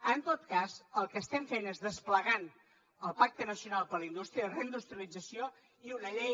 en tot cas el que estem fent és desplegant el pacte nacional per a la indústria reindustrialització i una llei